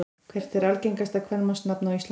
Hvert er algengasta kvenmannsnafn á Íslandi?